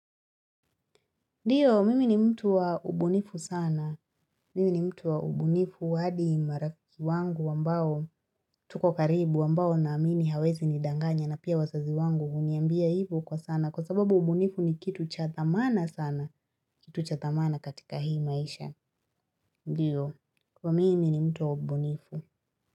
Ndiyo, mimi ni mtu wa ubunifu sana. Mimi ni mtu wa ubunifu hadi marafiki wangu ambao tuko karibu ambao na amini hawawezi nidanganya na pia wazazi wangu huniambia hivyo kwa sana kwa sababu ubunifu ni kitu cha thamana sana kitu cha thamana katika hii maisha. Ndiyo, kwa mimi ni mtu wa ubunifu.